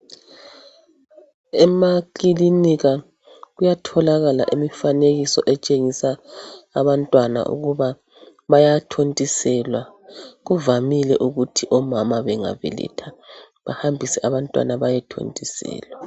Ema kilinika kuyatholakala imifanekiso etshengisa abantwana ukuba bayathontiselwa kuvamile ukuthi omama bengabeletha behambise abantwana baye thontiselwa